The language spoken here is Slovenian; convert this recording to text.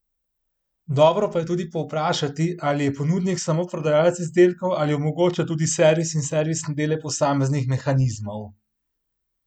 Dobro pa je tudi povprašati, ali je ponudnik samo prodajalec izdelkov ali omogoča tudi servis in servisne dele posameznih mehanizmov.